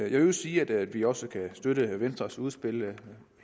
i øvrigt sige at vi også kan støtte venstres udspil